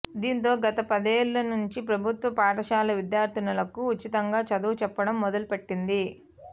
దీంతో గత పదేళ్ల నుంచి ప్రభుత్వ పాఠశాల విద్యార్థినులకు ఉచితంగా చదువు చెప్పడం మొదలుపెట్టింది